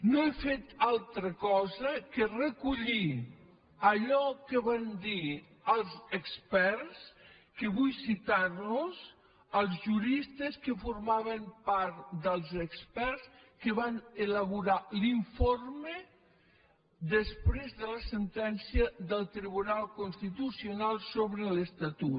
no he fet altra cosa que recollir allò que van dir els experts que vull citar los els juristes que formaven part dels experts que van elaborar l’informe després de la sentència del tribunal constitucional sobre l’estatut